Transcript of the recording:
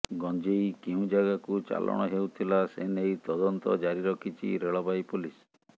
ଗଞ୍ଜେଇ କେଉଁ ଜାଗାକୁ ଚାଲାଣ ହେଉଥିଲା ସେନେଇ ତଦନ୍ତ ଜାରି ରଖିଛି ରେଳବାଇ ପୋଲିସ